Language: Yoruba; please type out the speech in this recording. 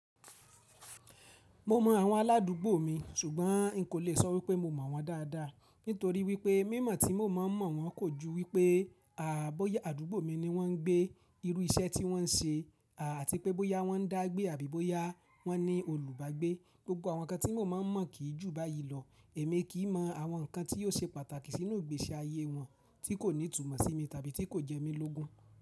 Mo mọ àwọn aládùgbò mi ṣùgbọ́n n kò lè sọ wípé mo mọ̀ wọ́n dádá nítorí wípé, mímọ̀ tí mo mọ̀ wọ́n kò ju wípé à á bóyá àdúgbò mi ni wọ́n ń gbé, irú iṣẹ́ tí wọ́n ń ṣe, à àti pé bóyá wọ́n dá gbé àbí bóyá wọ́n ní olùbágbé. Gbogbo àwọn ǹkan tí mo mọ̀ máa ń mọ̀ kì ju báyí lọ. Èmi kì ímọ àwọn ǹkan tí yóò ṣe pàtàkì sínú ìgbésí ayé wọn tí kò ní tùmọ̀ sí mi tàbí tí kò jẹ́ mi lógún.